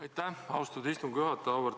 Aitäh, austatud istungi juhataja!